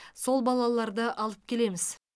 сол балаларды алып келеміз